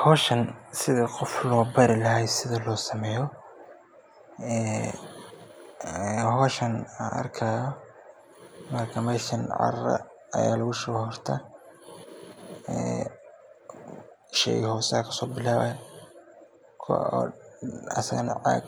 Howshan Sidi qof loo bari lahaay sida loo sameeyo, meesha cara ayaa lagu shubaya horta, sheyga hose ayaad